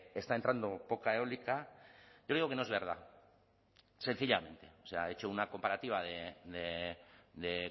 está entrando poca eólica creo que no es verdad sencillamente o sea ha hecho una comparativa de